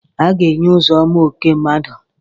Aga-enye Ụzọma oké mmadụ.